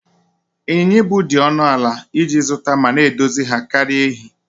Ịnyịnya ibu dị ọnụ ala iji zụta ma na-edozi ha karịa èhi